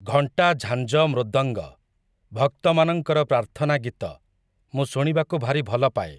ଘଣ୍ଟା ଝାଞ୍ଜ ମୃଦଙ୍ଗ, ଭକ୍ତମାନଙ୍କର ପ୍ରାର୍ଥନା ଗୀତ, ମୁଁ ଶୁଣିବାକୁ ଭାରି ଭଲପାଏ ।